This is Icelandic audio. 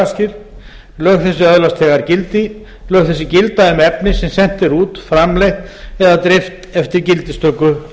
lagaskil lög þessi öðlast þegar gildi lög þessi gilda um efni sem sent er út framleitt eða dreift eftir gildistöku